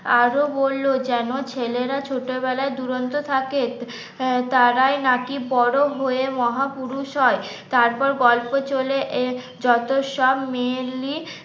আরো বলল যেন ছেলেরা ছোটবেলায় দুরন্ত থাকে আহ তারাই নাকি বড় হয়ে মহাপুরুষ হয় তারপর গল্প চলে এ যত সব মেয়েলি